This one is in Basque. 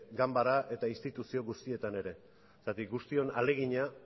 ganbera eta instituzio guztietan ere zergatik guztion ahalegina